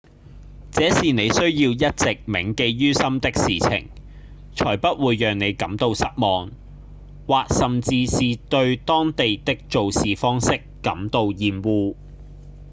這是您需要一直銘記於心的事情才不會讓您感到失望或甚至是對當地的做事方式感到厭惡